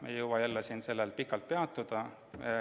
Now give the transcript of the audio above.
Me ei jõua sellel siin pikalt peatuda.